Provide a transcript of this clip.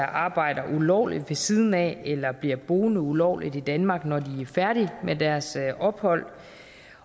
arbejder ulovligt ved siden af eller bliver boende ulovligt i danmark når de er færdige med deres ophold